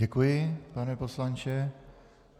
Děkuji, pane poslanče.